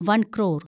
വൻ ക്രോർ